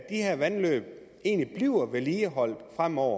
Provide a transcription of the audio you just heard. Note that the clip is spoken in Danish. her vandløb egentlig bliver vedligeholdt fremover